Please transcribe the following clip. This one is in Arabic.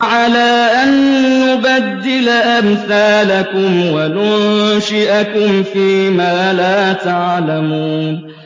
عَلَىٰ أَن نُّبَدِّلَ أَمْثَالَكُمْ وَنُنشِئَكُمْ فِي مَا لَا تَعْلَمُونَ